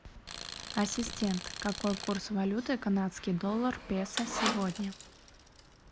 ассистент какой курс валюты канадский доллар песо сегодня